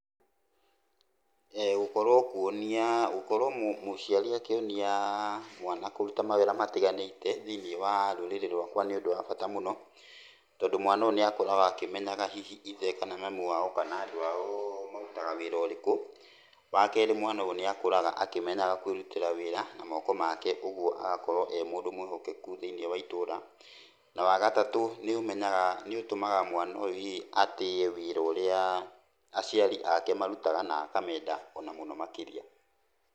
Gũkorwo kuonia, gũkorwo mũciari akĩonia mwana kũruta mawĩra matiganĩte, thĩiniĩ wa rũrĩrĩ rwakwa nĩ ũndũ wa bata mũno, tondũ mwana ũyũ niakũraga akĩmenyaga hihi ithe kana mami wao, kana andũ ao marutaga wĩra ũrĩkũ, wa kerĩ mwana ũyũ nĩakũraga akĩmenyaga kwĩrutĩra wĩra, na moko make ũguo agakorwo e mũndũ mwĩhokeku thĩiniĩ wa itũra, na wagatũ nĩũmenyaga nĩũtũmaga hihi mwana ũyũ atĩe wĩra ũrĩa aciari ake marutaga, na akamenda ona mũno makĩria.